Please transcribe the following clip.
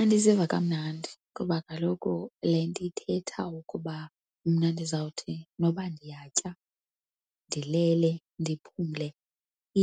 Andiziva kamnandi kuba kaloku le nto ithetha ukuba mna ndizawuthi noba ndiyatya, ndilele, ndiphumle,